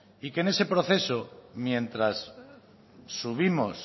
y que en ese proceso mientras subimos